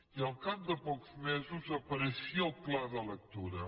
i al cap de pocs mesos apareixia el pla de lectura